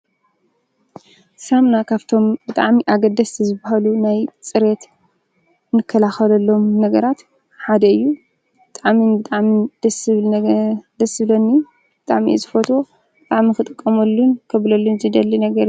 ሳሙና ካብቶም ብጣዕሚ አገደስቲ ዝበሃሉ ንፅሬት ንከላከለሎም ነገራት ሓደ እዪ ብጣዕሚ ብጣዕሚ ደስ ዝብለኒ ብጣዕሚ ደሰ ዝብለንን ነገር ዝፈትዎ ክጥቀመሉን ክብለሉን ዝደሊ ነገር እዪ ።